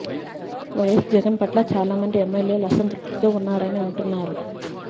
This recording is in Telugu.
వైయస్ జగన్ పట్ల వారు చాలామంది ఎమ్మెల్యేలు అసంతృప్తితో ఉన్నారని అంటున్నారు